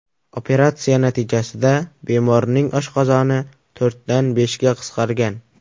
Operatsiya natijasida bemorning oshqozoni to‘rtdan beshga qisqargan.